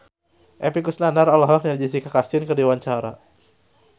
Epy Kusnandar olohok ningali Jessica Chastain keur diwawancara